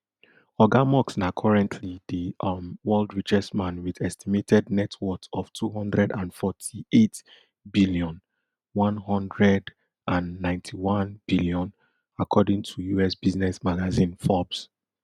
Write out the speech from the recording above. oga musk na currently di um world richest man wit estimated net worth of two hundred and forty-eight billion one hundred and ninety-one billion according to U.S business magazine forbes